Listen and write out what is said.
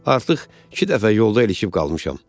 Artıq iki dəfə yolda ilişib qalmışam.